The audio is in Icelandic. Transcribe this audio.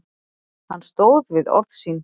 Hann stóð við orð sín.